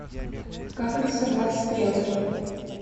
как рисовать стрелки